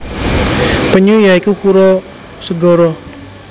Penyu ya iku kura segara